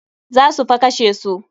Za su fa kashe su.